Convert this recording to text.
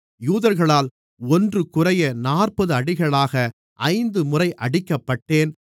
யூதர்களால் ஒன்றுகுறைய நாற்பது அடிகளாக ஐந்து முறை அடிக்கப்பட்டேன்